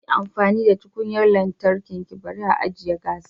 Yi amfani da tukunyar lantarki bari ajiye gas